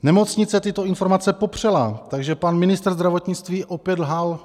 Nemocnice tyto informace popřela, takže pan ministr zdravotnictví opět lhal.